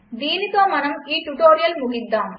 దీనితో మనం ఈ ట్యుటోరియల్ ముగిద్దాం